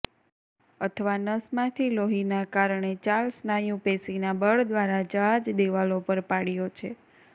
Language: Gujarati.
અથવા નસમાંથી લોહીના કારણે ચાલ સ્નાયુ પેશી ના બળ દ્વારા જહાજ દિવાલો પર પાડ્યો છે